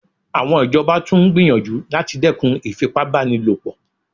Àwọn ìjọba tún gbìyànjú láti dẹ́kun ìfipá báni lò pọ̀